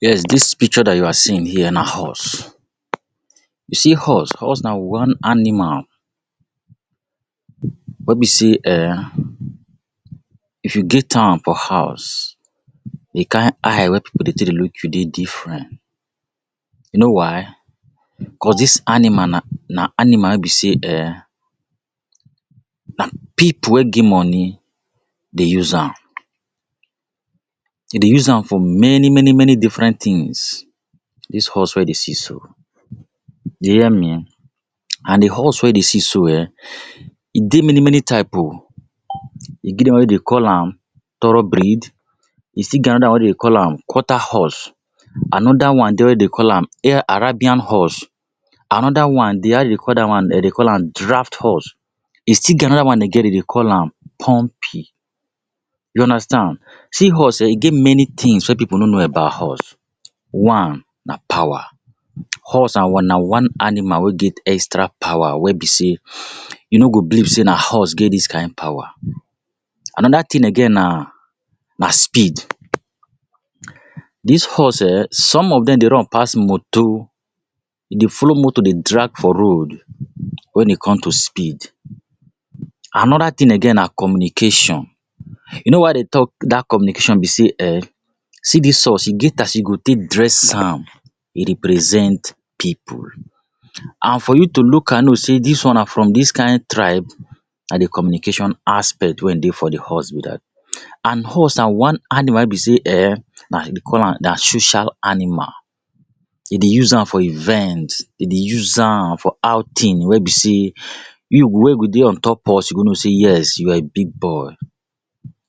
Yes, dis picture that you are seeing here na horse. You see horse, horse na one animal wey be sey um if you get am for house, di kind eye wey pipu go take dey look you dey different. You know why? Cause dis animal na na animal wey be sey um na pipu wey get money dey use am. Dem dey use am for many many many different things. Dis horse wey you dey see so. You dey hear me? And di horse wey you dey see so um, e dey many many type o. E get one wey dem dey call am thorough breed. E still get another one wey dem dey call am quarter horse. Another one dey wey dem dey call am arabian horse. Another one dey. How dem dey call that one, dem dey call am draft horse. E still get another one again dem dey call am pumpy. You understand. See horse um e get many things wey pipu no know about horse. One, na power. Horse na one na one animal wey get extra power wey be sey you no go believe sey na horse get dis kind power. Another thing again na na speed. Dis horse um, some of dem dey run pass motor. E dey follow motor dey drag for road when e come to speed. Another thing again na communication. You know why I dey talk that communication be sey um, see dis horse, e get as you go take dress am, e represent pipu. And for you to look am know sey dis one na from dis kind tribe, na di communication aspect wey e dey for de horse be that. And horse na one animal wey be sey um na dem dey call am na social animal. Dem dey use am for events. Dem dey use am for outing wey be sey you wey go dey on top horse, you go know sey you are a big boy.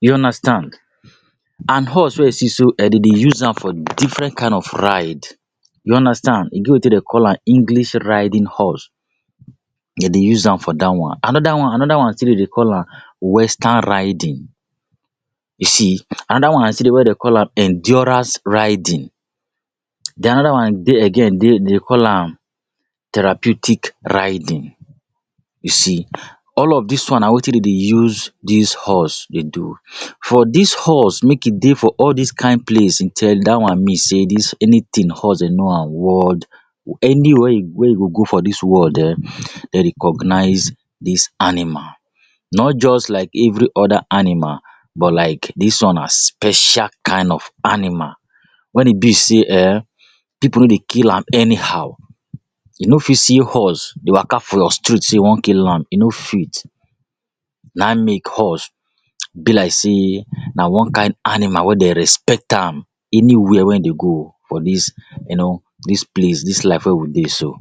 You understand. And horse wey you see so um dem dey use am for different kind of ride. You understand. E get wetin dem dey call am English riding horse. Dem dey use am for that one. Another one another one dem dey call am western riding. You see. Another one na still de way dem call am endurance riding. Then another one dey again dem dey call am therapeutic riding. You see. All of these one na wetin dem dey use dis horse dey do. For dis horse make e dey for all this kind place that one mean sey dis anything horse dem know am world anywhere you where you go go for dis world um, dem recognize dis animal. Not just like every other animal. But like dis one na special kind of animal wen e be sey um pipu no dey kill am anyhow. You no fit see horse dey waka for your street sey you want kill am. You no fit. Na in make horse be like sey na one kind animal wey dem respect am anywhere wey dem go for dis um you know dis place, dis life wey we dey so.